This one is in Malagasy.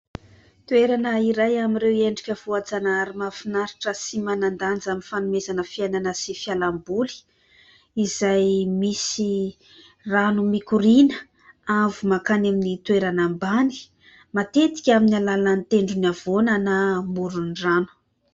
Toerana iray amin'ireo endrika voajanahary mahafinaritra sy manan-danja amin'ny fanomezana fiainana sy fialamboly, izay misy rano mikoriana avo makany amin'ny toerana ambany ; matetika amin'ny alalan'ny tendrony havoana na amoron-drano.